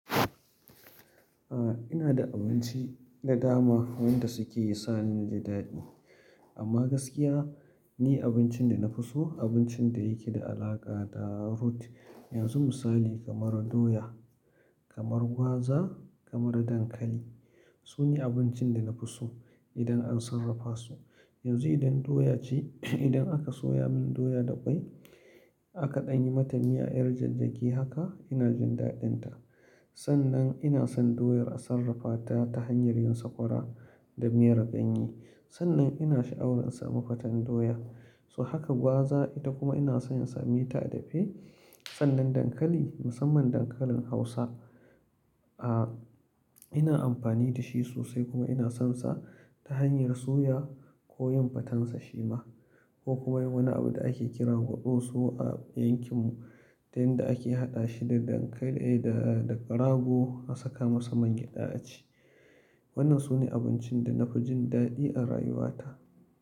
A'a ina da abinci da dama wanda suke sa ni jin daɗi. Amma gaskiya ni abincin da na fi so abincin da yake da alaƙa da root. Yanzu misali kamar doya, kamar gwaza, kamar dankali. Su ne abincin da na fi so idan an sarrafa su. Yanzu idan doya ce, idan aka soya min doya da ƙwai aka ɗanyi mata miya 'yar jajjage haka ina jin daɗinta. Sannan ina son doyar a sarrafata ta hanyar yin sakwara da miyar ganye. Sannan ina sha'awar in sami faten doya. So haka gwaza ita kuma ina so in same ta dafe. Sannan dankali, musamman dankalin hausa, ina amfani da shi sosai kuma ina sonsa ta hanyar soyawa ko yin fatan sa shima ko kuma yin wani abu da ake kira gwado so a yankin mu ta yanda ake haɗa shi da ƙarago a saka masa man gyaɗa a ci. Wannan su ne abincin da na fi jin daɗi a rayuwa ta.